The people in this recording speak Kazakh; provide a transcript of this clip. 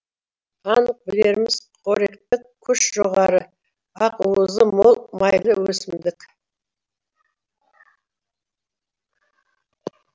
анық білеріміз қоректік күші жоғары ақ уызы мол майлы өсімдік